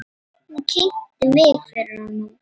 Hún kynnti mig fyrir honum.